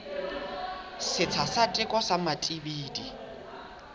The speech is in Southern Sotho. setsha sa teko sa matibidi